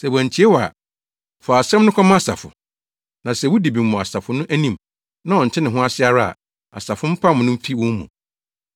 Sɛ wantie wo ara a, fa asɛm no kɔma asafo. Na sɛ wudi bem wɔ asafo no anim, na ɔnte ne ho ase ara a, asafo no mpam no mfi wɔn mu.